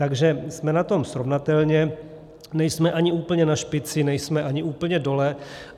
Takže jsme na tom srovnatelně, nejsme ani úplně na špici, nejsme ani úplně dole.